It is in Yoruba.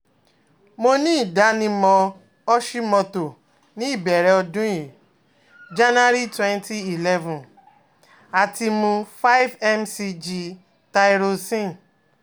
Mo ni idanimọ Hoshimoto ni ibẹrẹ ọdun yii Jan-twenty eleven ati mu five mcg Thyroxin